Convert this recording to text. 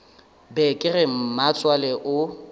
be ke re mmatswale o